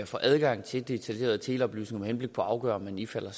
få adgang til detaljerede teleoplysninger med henblik på at afgøre om man ifalder